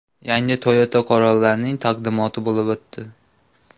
Yangi Toyota Corolla’ning taqdimoti bo‘lib o‘tdi.